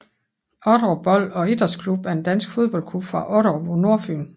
Otterup Bold og Idrætsklub er en dansk fodboldklub fra Otterup på Nordfyn